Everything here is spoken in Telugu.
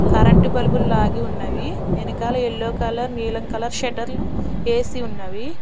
కరెంటు బల్బులు లాగి ఉన్నది వెనకాల యెల్లో కలర్ నీలం కలర్ షెటర్లు వేసి ఉన్నవి.